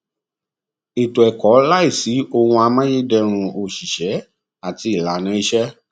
ètò ẹkọ láìsí ohun amáyédẹrùn òṣìṣẹ àti ìlànà ìṣe